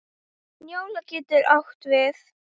Njóla getur átt við